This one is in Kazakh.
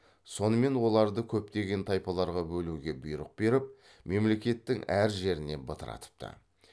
сонымен оларды көптеген тайпаларға бөлуге бұйрық беріп мемлекеттің әр жеріне бытыратыпты